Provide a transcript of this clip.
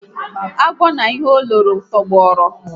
Agwọ na ihe o loro tọgbọrọ